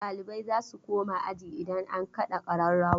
Ɗalibai za su koma aji idan an kaɗa ƙararrawa..